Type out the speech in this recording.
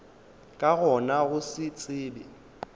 ka gona go se tsebe